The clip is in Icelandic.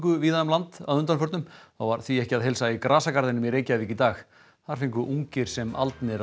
víða um land að undanförnu þá var því ekki að heilsa í grasagarðinum í Reykjavík í dag þar fengu ungir sem aldnir að